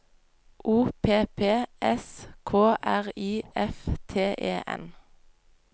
O P P S K R I F T E N